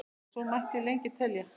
og svo mætti lengi telja.